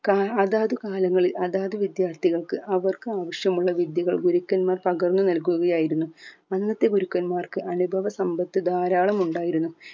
കാ അതാത് കാലങ്ങളിൽ അതാത് വിദ്യാർഥികൾക് അവർക്ക് ആവശ്യമുള്ള വിദ്യകൾ ഗുരുക്കന്മാർ പകർന്ന് നല്കുകയായിരുന്നു അന്നത്തെ ഗുരുക്കന്മാർക് അനുഭവ സമ്പത്ത് ധാരാളമുണ്ടായിരുന്നു